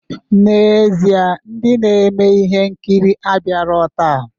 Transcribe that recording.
N'ezie, ndị na-eme ihe nkiri abịarọ taa.